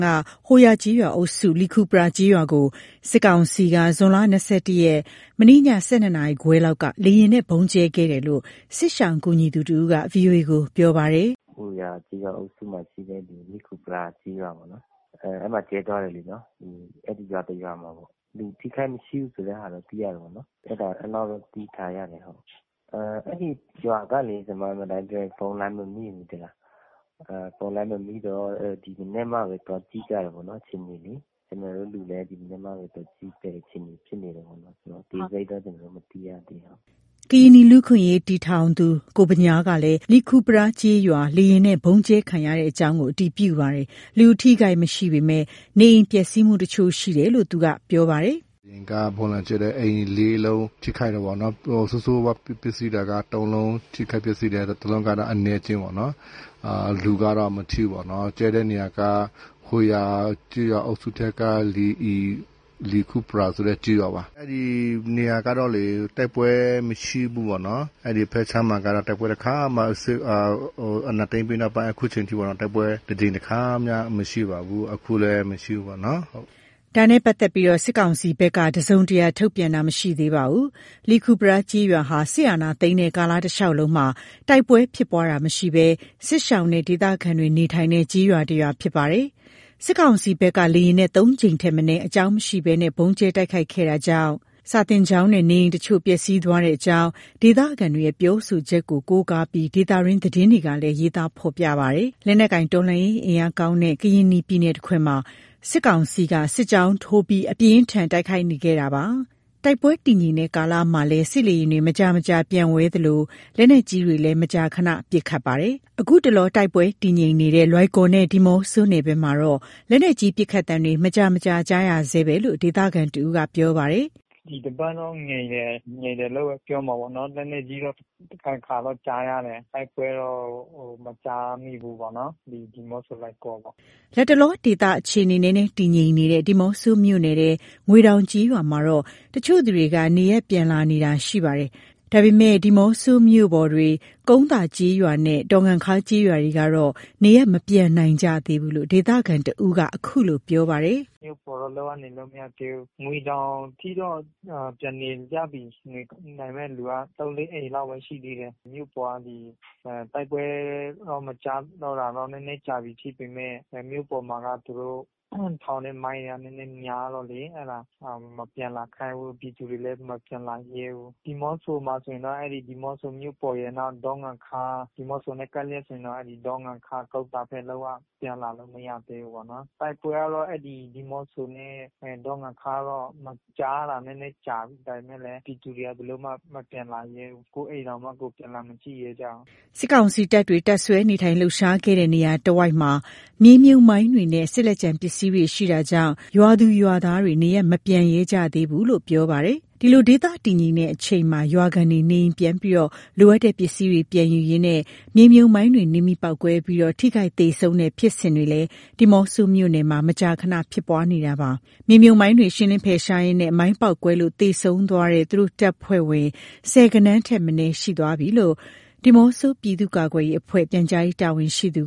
က ဟိုဟာ ကျေးရွာအုပ်စု လီခူပရားကျေးရွာကို စစ်ကောင်စီက ဇွန်လ ၂၁ ရက်၊ မနေ့ည ၁၂နာရီခွဲလောက်က လေယာဉ်နဲ့ ဗုံးကျဲခဲ့တယ်လို့ စစ်ရှောင်ကူညီသူတဦးက ဗွီအိုကို ပြောပါတယ်။ “ဟိုယာ ကျေးရွာအုပ်စုမှာရှိတဲ့ လီခူပရား ကျေးရွာပေါ့နော်၊ အဲ့မှာကျဲသွားတယ်လေနော်။ အဲ့ဒီရွာတစ်ရွာမှာပေါ့၊ လူထိခိုက်မရှိဘူးဆိုတဲ့ဟာတော့ သိရတယ်ပေါ့နော်။ အဲ့လောက်ပဲ သိထားရတယ်ဟုတ်။ အဲ့ဒီရွာကလေ ဖုန်းလိုင်းမမိဘူး သိလား။ ဖုန်းလိုင်းမမိတော့ ဒီမနက်မှာပဲ သွားကြည့်ကြတယ်ပေါ့နော် အခြေအနေလေ။ ကျနော်တို့လူလည်း ဒီမနက်မှပဲ သွားကြည့်ရတဲ့အခြေအနေ ဖြစ်နေတယ်ပေါ့နော်။ အသေးစိတ်တော့ ကျနော်တို့ မသိရသေးဘူး ဟုတ်။” ကရင်နီလူ့အခွင့်အရေးအဖွဲ့ တည်ထောင်သူ ကိုဗညားကလည်း လီခူပရား ကျေးရွာ လေယာဉ်နဲ့ ဗုံးကျဲခံရကြောင်း အတည်ပြုပါတယ်။ လူအထိအခိုက်မရှိပေမယ့် နေအိမ်ပျက်စီးမှု တချို့ရှိတယ်လို့ သူက အခုလို ပြောပါတယ်။ “လေယာဉ်က ဗုံးလာကျဲတယ်၊ အိမ်လေးလုံး ထိခိုက်တာပေ့ါနော်။ ဆိုးဆိုးဝါးဝါးပျက်စီးတာက သုံးလုံး ထိခိုက်ပျက်စီးတယ်။ တစ်လုံးကတော့ အနည်းအကျဉ်းပေါ့နော်။ လူကတော့ မထိဘူးပေါ့နော်။ ကျဲတဲ့နေရာက ဟိုယာ ကျေးရွာအုပ်စုထဲက လီခူပရားဆိုတဲ့ ကျေးရွာပါ၊ အဲ့ဒီနေရာကတော့ တိုက်ပွဲမရှိဘူးပေါ့နော်။ အဲ့ဒီဖက်ခြမ်းမှာက အာဏာသိမ်းပြီးနောက်ပိုင်း အခုချိန်ထိပါ၊ တိုက်ပွဲတကြိမ်တခါမှ မရှိပါဘူး။ အခုလည်း မရှိဘူးပေါ့နော် ဟုတ်။” ဒါနဲ့ ပတ်သက်လို့ စစ်ကောင်စီဘက် တစုံတရာထုတ်ပြန်တာ မရှိသေးပါဘူး။ လီခူပရား ကျေးရွာဟာ စစ်အာဏာသိမ်းတဲ့ကာလတလျှောက်လုံးမှာ တိုက်ပွဲဖြစ်ပွားခြင်းမရှိဘဲ စစ်ရှောင်နဲ့ ဒေသခံတွေ နေထိုင်တဲ့ ကျေးရွာတရွာ ဖြစ်ပါတယ်။ စစ်ကောင်စီဘက်က လေယာဉ်နဲ့ ၃ကြိမ်ထက်မနည်း အကြောင်းရင်းမရှိဘဲ ဗုံးကျဲတိုက်ခိုက်ခဲ့တာကြောင့် စာသင်ကျောင်းနဲ့ နေအိမ်တချို့ ပျက်စီးသွားကြောင်း ဒေသခံတွေရဲ့ ပြောဆိုချက်ကို ကိုးကားပြီး ဒေသတွင်းသတင်းတွေမှာလည်း ရေးသားဖော်ပြထားပါတယ်။ လက်နက်ကိုင်တော်လှန်ရေး အင်အားကောင်းတဲ့ ကရင်နီပြည်နယ်တခွင်မှာ စစ်ကောင်စီက စစ်ကြောင်းထိုးပြီး အပြင်းအထန် တိုက်ခိုက်ခဲ့နေတာပါ။ တိုက်ပွဲတည်ငြိမ်တဲ့ကာလမှာလည်း စစ်လေယာဉ်တွေ မကြာမကြာ ပျံဝဲနေသလို လက်နက်ကြီးတွေလည်း မကြာခဏ ပစ်ခတ်နေတာပါ။ ခုတလော တိုက်ပွဲတည်ငြိမ်နေတဲ့ လွိုင်ကော်နဲ့ ဒီးမော့ဆိုနယ်ဘက်မှာတော့ လက်နက်ကြီးပစ်ခတ်သံတွေ မကြာမကြာ ကြားနေရဆဲပဲဖြစ်လို့ ဒေသခံတဦးက ပြောပါတယ်။ “ဒီတပတ်တော့ ငြိမ်တယ်၊ ငြိမ်တယ်လို့ပဲပြောရမှာပေါ့နော်။ လက်နက်ကြီးတော့ တခါတခါတော့ ကြားရတယ်။ တိုက်ပွဲတော့ မကြားမိဘူးပေါ့နော်၊ ဒီ ဒီးမော့ဆို၊ လွိုင်ကော်ပေါ့။” လတ်တလော ဒေသအခြေအနေ နည်းနည်းတည်ငြိမ်နေတဲ့ ဒီးမော့ဆိုမြို့နယ်ထဲ ငွေတောင်ကျေးရွာမှာတော့ တချို့သူတွေက နေရပ်ပြန်လာနေကြတာ ရှိပါတယ်။ ဒါပေမယ့် ဒီးမော့ဆိုမြို့ပေါ်တွေ ကုန်းသာ ကျေးရွာနဲ့ ဒေါ်ငံခါး ကျေးရွာတွေကတော့ နေရပ်မပြန်နိုင်ကြသေးဘူးလို့ ဒေသခံတဦးက ခုလို ပြောပါတယ်။ “မြို့ပေါ်တော့ လုံးဝနေလို့မရသေးဘူး၊ ငွေတောင်ထိတော့ ပြန်နေကြပြီ။ နေနိုင်မယ့်လူက ၃၊ ၄အိမ်လောက်ပဲ ရှိသေးတယ်၊ မြို့ပေါ်က ဒီတိုက်ပွဲတော့ မကြားတာတော့ နည်းနည်းကြာပြီးဖြစ်ပေမယ့် မြို့မှာက သူတို့ထောင်တဲ့ မိုင်းတွေက နည်းနည်းများတော့လေ၊ အဲ့ဒါ မပြန်လာခိုင်းဘူး။ ပြည်သူတွေလည်း မပြန်လာရဲဘူး။ ဒီးမော့ဆိုမှာဆိုရင်တော့ အဲ့ဒီ ဒီးမော့ဆိုမြို့ပေါ်ရယ် နောက် ဒေါ်ငံခါး၊ ဒီးမော့ဆိနဲ့ ကပ်လျက်ဆိုရင်တော့ အဲ့ဒေါ်ငံခါး ကုန်းသားဘက် လုံးဝ ပြန်လာလို့မရသေးဘူးပေါ့နော်။ တိုက်ပွဲကတော့ အဲ့ဒီ ဒီးမော့ဆို နဲ့ ဒေါ်ငံခါး မကြားတာ နည်းနည်းကြာပြီ။ ဒါပေမယ့်လည်း ပြည်သူတွေဘယ်လိုမှ မပြန်လာရဲဘူး။ကိုယ့်အိမ်တောင်မှ ကိုယ်ပြန်လာမကြည့်ရဲကြဘူး။” စစ်ကောင်စီတပ်တွေ တပ်စွဲနေထိုင်လှုပ်ရှားခဲ့တဲ့ နေရာတဝိုက်မှာ မြေမြှုပ်မိုင်းတွေနဲ့ စစ်လက်ကျန်ပစ္စည်းတွေ ရှိနေတာကြောင့် ရွာသူရွာသားတွေ နေရပ်မပြန်ရဲကြသေးတာလို့ ပြောပါတယ်။ ဒီလို ဒေသတည်ငြိမ်တဲ့အချိန်မှာ ရွာခံတွေ နေအိမ်ပြန်ပြီး လိုအပ်တဲ့ပစ္စည်းတွေ ပြန်ယူရင်းနဲ့ မြေမြှုပ်မိုင်းတွေ နင်းမိပေါက်ကွဲပြီး ထိခိုက်သေဆုံးတဲ့ ဖြစ်စဉ်တွေ ဒီးမော့ဆိုမြို့နယ်မှာ မကြာခဏဖြစ်ပွားနေတာပါ။ မြေမြှုပ်မိုင်းတွေ ရှင်းလင်းဖယ်ရှားရင်နဲ့ မိုင်းပေါက်ကွဲလို့ သေဆုံးသွားတဲ့ သူတို့တပ်ဖွဲ့ဝင် ဆယ်ဂဏန်းထက်မနည်း ရှိနေသွားပြီးလို့ ဒီးမော့ဆို ပြည်သူ့ကာကွယ်ရေးအဖွဲ့ ပြန်ကြားရေးတာဝန်ရှိသူ